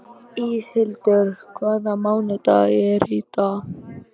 Íshildur, hvaða mánaðardagur er í dag?